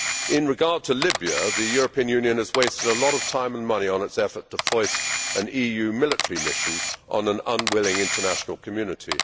In regard to Libya, the European Union has wasted a lot of time and money on its effort to foist an EU military mission on an unwilling international community.